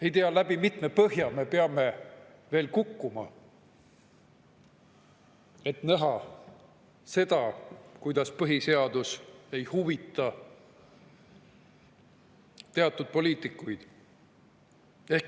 Ei tea, läbi kui mitme põhja me peame veel kukkuma, et näha seda, kuidas põhiseadus ei huvita teatud poliitikuid.